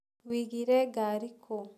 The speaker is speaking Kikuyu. Wigire ngari kũ?